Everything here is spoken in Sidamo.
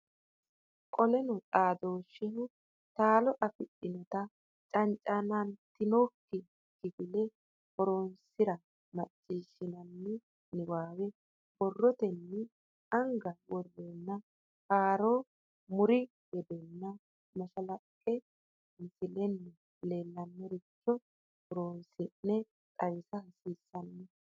Qoleno xaadooshsheho tola afidhinota cancamantinokko kifile horonsi ra macciishshinanni niwaawe borrotenni anga woranna haaro mu ri hedonna mashalaqqe misilenna leellannoricho horonsi ne xawisa hasiissanno.